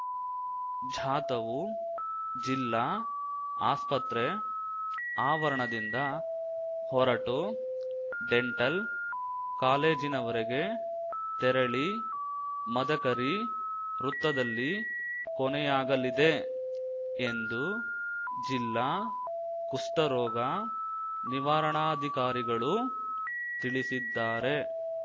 ಝಾಥವು ಜಿಲ್ಲಾ ಆಸ್ಪತ್ರೆ ಆವರಣದಿಂದ ಹೊರಟು ಡೆಂಟಲ್‌ ಕಾಲೇಜಿನವರೆಗೆ ತೆರಳಿ ಮದಕರಿ ವೃತ್ತದಲ್ಲಿ ಕೊನೆಯಾಗಲಿದೆ ಎಂದು ಜಿಲ್ಲಾ ಕುಷ್ಠರೋಗ ನಿವಾರಣಾಧಿಕಾರಿಗಳು ತಿಳಿಸಿದ್ದಾರೆ